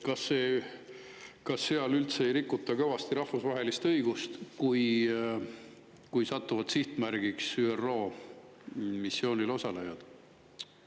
Kas seal üldse ei rikuta kõvasti rahvusvahelist õigust, kui sihtmärgiks satuvad ÜRO missioonil osalejad?